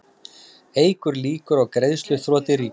Eykur líkur á greiðsluþroti ríkisins